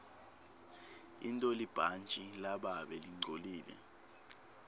intolibhantji lababe lingcolile